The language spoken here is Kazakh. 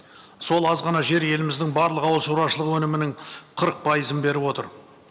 сол аз ғана жер еліміздің барлық ауылшаруашылығы өнімінің қырық пайызын беріп отыр